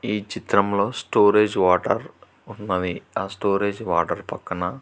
ఈ చిత్రంలో storage water ఉన్నవి ఆ స్టోరేజ్ వాటర్ పక్కన--